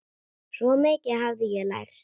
Svo mikið hafði ég lært.